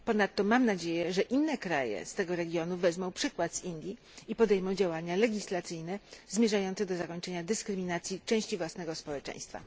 Ponadto mam nadzieję, że inne kraje z tego regionu wezmą przykład z Indii i podejmą działania legislacyjne zmierzające do zakończenia dyskryminacji części własnego społeczeństwa.